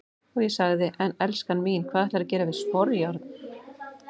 Og ég sagði:- En elskan mín, hvað ætlarðu að gera við sporjárn?